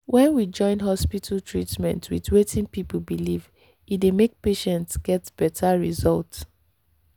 when we join hospital treatment with wetin people believe e dey make patients get better result.